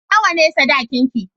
Nawa ne sadakinki?